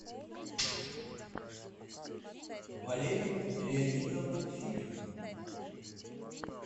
валерия леонидовна филина